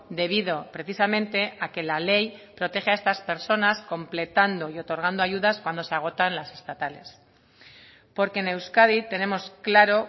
debido precisamente a que la ley protege a estas personas completando y otorgando ayudas cuando se agotan las estatales porque en euskadi tenemos claro